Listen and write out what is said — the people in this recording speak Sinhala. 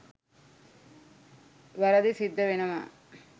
වැරදිසිද්ද වෙනවා.